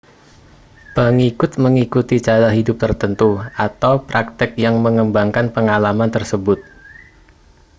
pengikut mengikuti cara hidup tertentu atau praktik yang mengembangkan pengalaman tersebut